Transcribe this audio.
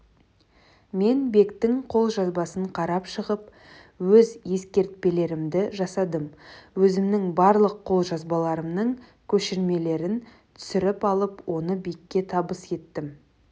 мен бектің қолжазбасын қарап шығып өз ескертпелерімді жасадым өзімнің барлық қолжазбаларымның көшірмелерін түсіріп алып оны бекке табыс еттім